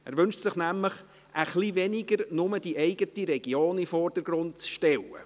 Er wünscht sich nämlich etwas weniger Nur-die-eigene-Region-in-den-Vordergrund-stellen.